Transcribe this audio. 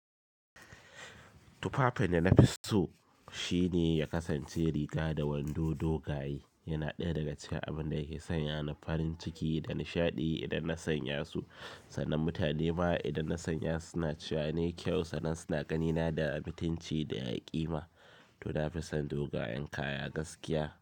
Tufafin da na fi so shine ya kasance riga da wando dogaye, yana ɗaya daga cikin abin da yake sanya ni farin ciki da nishaɗi idan na sanya su, sannan mutane ma idan na sanya suna cewa ne kyau sannan suna ganina da amintinci da haƙi ma to na fi son dogayen kaya gaskiya.